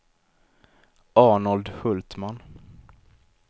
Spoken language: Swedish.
Arnold Hultman